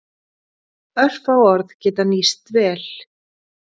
Örfá orð geta nýst vel.